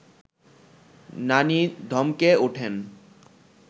নানি ধমকে ওঠেন